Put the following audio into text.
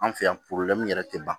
An fɛ yan yɛrɛ tɛ ban